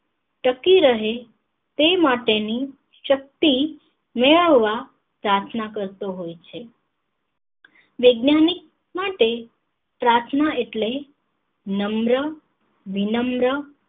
ટકી રહે તે માટે ની શક્તિ મેળવવા પ્રાર્થના કરતો હોય છે વૈજ્ઞાનિક માટે પ્રાર્થના એટલે નમ્ર વિનમ્ર